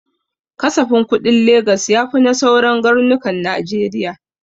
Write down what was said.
Kasafin kuɗin Legas ya fi na sauran garnukan najeriya